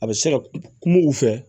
A bɛ se ka kuma u fɛ